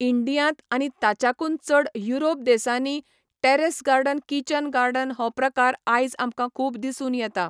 इंडियांत आनी ताच्याकून चड युरोप देसानी टेरॅस गार्डन किचन गार्डन हो प्रकार आयज आमकां खूब दिसून येता.